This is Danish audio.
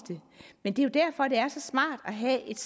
det men det er jo derfor det er så smart at have et